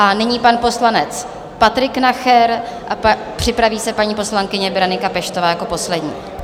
A nyní pan poslanec Patrik Nacher a připraví se paní poslankyně Berenika Peštová jako poslední.